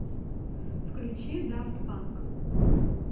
включи дафт панк